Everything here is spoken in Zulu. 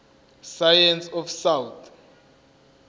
science of south